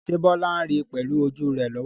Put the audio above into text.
Ṣé Bola ń rí pẹ̀lú ojú rẹ̀ lọ́wọ́lọ́wọ́?